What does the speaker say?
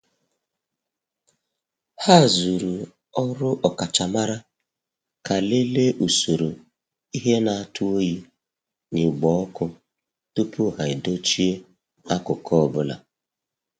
Ha zuru ọrụ ọkachamara ka lelee usoro ihe na- atụ oyi na igbo ọkụ tupu ha edochie akụkụ ọbụla.